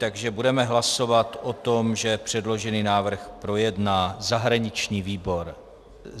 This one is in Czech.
Takže budeme hlasovat o tom, že předložený návrh projedná zahraniční výbor.